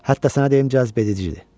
Hətta sənə deyim cazibəcidir.